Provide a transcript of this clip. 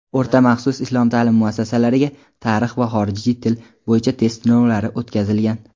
o‘rta maxsus islom ta’lim muassasalariga "Tarix" va "Xorijiy til" bo‘yicha test sinovlari o‘tkazilgan.